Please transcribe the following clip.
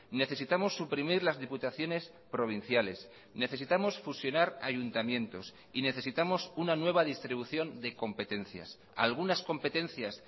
necesitamos suprimir las diputaciones provinciales necesitamos fusionar ayuntamientos y necesitamos una nueva distribución de competencias algunas competencias